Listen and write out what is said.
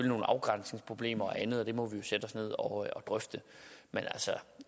nogle afgrænsningsproblemer og andet og det må vi jo sætte os ned og drøfte men